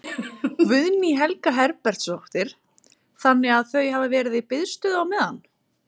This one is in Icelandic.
Guðný Helga Herbertsdóttir: Þannig að þau hafa verið í biðstöðu á meðan?